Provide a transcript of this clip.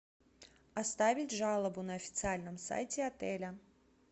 оставить жалобу на официальном сайте отеля